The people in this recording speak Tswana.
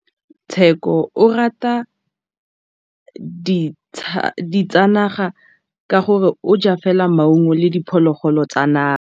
Tshekô o rata ditsanaga ka gore o ja fela maungo le diphologolo tsa naga.